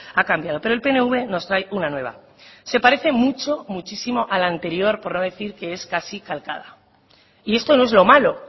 ha cambiado pero el pnv nos trae una nueva se parece mucho muchísimo a la anterior por no decir que es casi calcada y esto no es lo malo